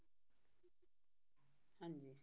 ਹਾਂਜੀ